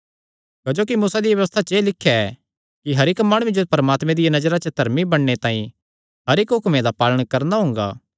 क्जोकि मूसा दिया व्यबस्था च एह़ लिख्या ऐ कि हर इक्क माणुये जो परमात्मे दिया नजरा च धर्मी बणने तांई हर इक्क हुक्मे दा पालण करणा हुंगा